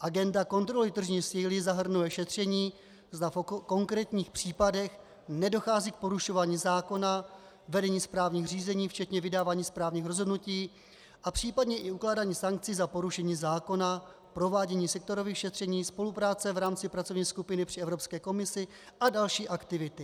Agenda kontroly tržní síly zahrnuje šetření, zda v konkrétních případech nedochází k porušování zákona, vedení správních řízení, včetně vydávání správních rozhodnutí, a případně i ukládání sankcí za porušení zákona, provádění sektorových šetření, spolupráce v rámci pracovní skupiny při Evropské komisi a další aktivity.